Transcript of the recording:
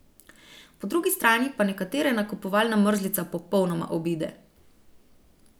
Po drugi strani pa nekatere nakupovalna mrzlica popolnoma obide.